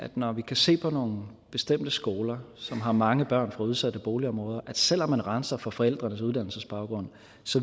når vi kan se på nogle bestemte skoler som har mange børn fra udsatte boligområder at det selv om man renser for forældrenes uddannelsesbaggrund